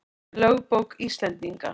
Lögbók Íslendinga.